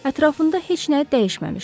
Ətrafında heç nə dəyişməmişdi.